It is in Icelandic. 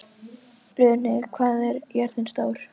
Runi, hvað er jörðin stór?